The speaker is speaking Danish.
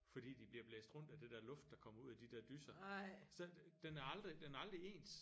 Fordi de bliver blæst rundt af det der luft der kommer ud af de der dyser så den er aldrig den er aldrig ens